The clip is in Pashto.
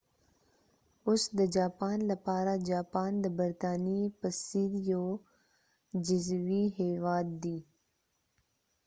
اوس د جاپان لپاره جاپان د برطانیې په څیر یو جزیروي هیواد دي